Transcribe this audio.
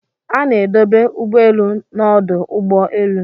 A na-edobe ụgbọelu n'ọdụ ụgbọ elu.